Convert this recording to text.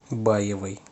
баевой